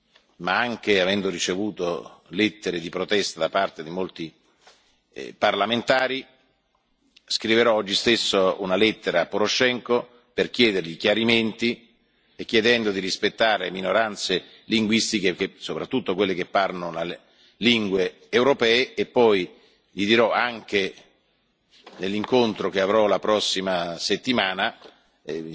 avendo ricevuto non soltanto la sollecitazione qui in quest'Aula, ma anche lettere di protesta da parte di molti parlamentari, scriverò oggi stesso una lettera a Poroshenko per chiedergli chiarimenti e chiedendo di rispettare le minoranze linguistiche, soprattutto quelle che parlano lingue europee. Inoltre, gli dirò